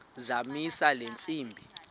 zamisa le ntsimbi